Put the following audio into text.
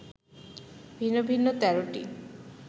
ভিন্ন ভিন্ন ১৩টি